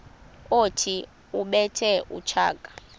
othi ubethe utshaka